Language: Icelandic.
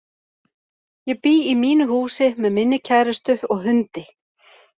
Ég bý í mínu húsi með minni kærustu og hundi.